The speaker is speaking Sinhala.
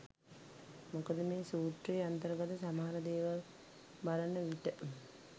මොකද මේ සූත්‍රයේ අන්තර්ගත සමහර දේවල් බලන විට